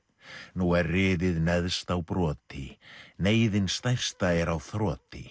nú er riðið neðst á broti neyðin stærsta er á þroti